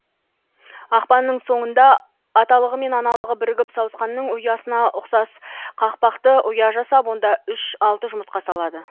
ақпанның соңында аталығы мен аналығы бірігіп сауысқанның ұясына ұқсас қақпақты ұя жасап онда үш алты жұмыртқа салады